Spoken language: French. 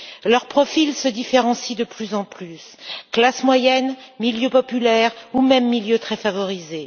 Leurs profils se différencient de plus en plus classes moyennes, milieux populaires ou même milieux très favorisés.